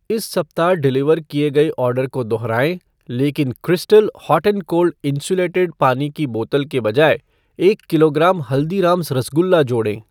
इस सप्ताह डिलीवर किए गए ऑर्डर को दोहराएँ लेकिन crystal hot and cold insulated पानी की बोतल के बजाय एक किलोग्राम हल्दीरामज़ रसगुल्ला जोड़ें।